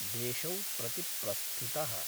देशौ प्रति प्रस्थितः।